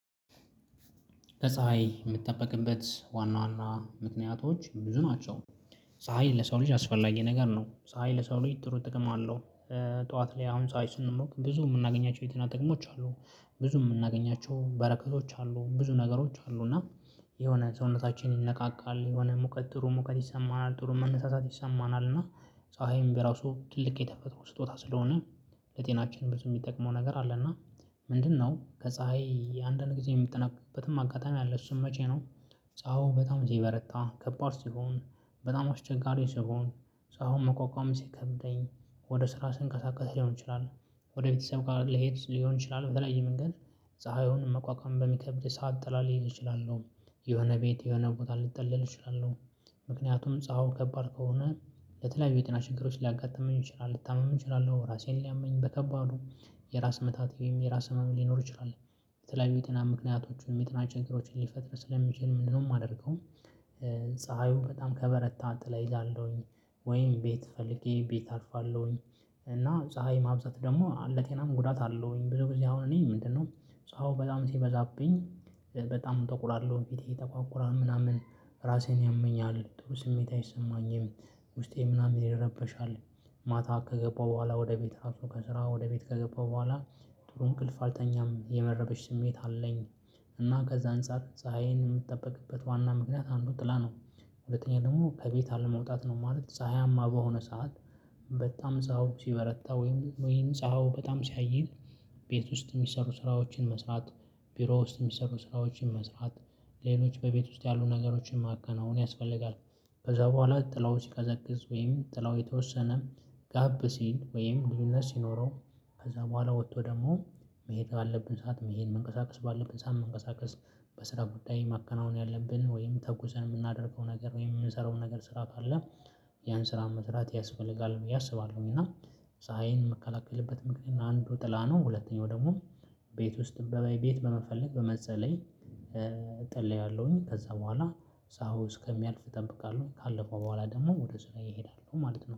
ከፀሀይ የምጠበቅበት ዋና ዋና ምክንያቶች ብዙ ናቸው። ፀሀይ ለሰው ልጅ አስፈላጊ ነገር ነው ፀሀይ ለሰው ልጅ ጥሩ ጥቅም አለው። ጠዋት ላይ አሁን ፀሀይ ስንሞቅ ብዙ የምናገኛቸው የጤና ጥቅሞች አሉ። ብዙ የምናገኛቸው በረከቶች አሉ ብዙ ነገሮች አሉ። እና የሆነ ሰውነታችን ይነቃቃል የሆነ ሙቀት ጥሩ ሙቀት ይሰማናል ጥሩ መነሳሳት ይሰማናል። እና ፀሀይም በራሱ ትልቅ የተፈጥሮ ስጦታ ስለሆነ ለጤናችን ብዙ የሚጠቅመው ነገር አለ። እና ምንድነው ከፀሀይ የአንዳንድ ጊዜ የሚጠነቀቅበትም አጋጣሚ አለ እሱም መቼ ነው? ፀሀዮ በጣም ሲበረታ ከባድ ሲሆን በጣም አስቸጋሪ ሲሆን ፀሀዩን መቋቋም ሲከብደኝ ወደ ስራ ስንቀሳቀስ ሊሆን ይችላል ወደ ቤተሰብ ሊሄድ ሊሆን ይችላል በተለያየ የመንገድ ፀሀዩን መቋቋም በሚከብድ ሰዓት ጥላ ጥላ ልይዝ እችላለሁ የሆነ ቤት የሆነ እውቀት ልትጠለል እችላለሁ። ምክንያቱም ፀሀው ከባድ ከሆነ ለተለያዩ የጤና ችግሮች ሊያጋጥመኝ ይችላል ልታምም እችላለሁ ራሴን ሊያመኝ በከባዱ የራስ ምታት ወይም የራስ ህመም ሊኖር ይችላል። የተለያዩ የጤና ምክንያቶቹ የጤና ችግሮችን ሊፈጥር ስለሚችል ምንድነው የማደርገው? ፀሀዩ በጣም ከበረታ ጥላ እይዛለሁኝ ወይም ቤት ፈልጌ ቤት አርፋለሁኝ። እና ፀሀይ ማብዛት ደግሞ ለጤናም ጉዳት አለሁኝ። ብዙ ጊዜ አሁን እኔ ምንድነው ፀሀዩ በጣም ሲበዛብኝ በጣም እጠቁራለው ፊቴ ይጠቋቁራል ምናምን ራሴን ያመኛል ጥሩ ስሜት አይሰማኝም ውስጤ ምናምን ይረበሻል። ማታ ከገባሁ በኋላ ወደ ቤት ራሱ ከስራ ወደ ቤት ከገባሁ በኋላ ጥሩ እንቅልፍ አልተኛም የመረበሽ ስሜት አለኝ። እና ከዛ አንፃር ፀሀይን የምጠበቅበት ዋና ምክንያት አንዱ ጥላ ነው። ሁለተኛ ደግሞ ከቤት አለመውጣት ነው። ማለት ፀሀያማ በሆነ ሰዓት። በጣም ፀሀዩ ሲበረታ ወይም ወይም ፀሀዩ በጣም ሲያይል። ቤት ውስጥ የሚሰሩ ስራዎችን መስራት ቢሮ ውስጥ የሚሰሩ ስራዎችን መስራት ሌሎች በቤት ውስጥ ያሉ ነገሮችን ማከናወን ያስፈልጋል። ከዛ በኋላ ጥላው ሲቀዘቅዝ ወይም ጥላው የተወሰነ ጋብ ሲል ወይም ግድነት ሲኖረው ከዛ በኋላ ወጥቶ ደግሞ መሄድ አለብን ሰዓት መሄድ መንቀሳቀስ ባለብን ሰዓት መንቀሳቀስ። በስራ ጉዳይ ማከናወን ያለብን ወይም ተጉዘን የምናደርገው ነገር ወይም የምንሰራውን ነገር ስራ ታደለ። ያን ስራ መስራት ያስፈልጋል ብዬ አስባለሁኝ። እና ፀሀይን እምከላከልበት ምክንያት አንዱ ጥላ ነው ሁለተኛው ደግሞ ቤት ውስጥ ቤት በመፈለግ በመጠለል እጠለላለሁኝ ከዛ በኋላ ፀሀዩ እስከሚያልፍ እጠብቃለሁ ካለፈ በኋላ ደግሞ ወደ ስራዬ እሄዳለሁ ማለት ነው